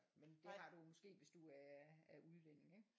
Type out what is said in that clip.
Men det har du måske hvis du er er udlænding ikke